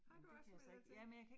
Har du også meldt dig til?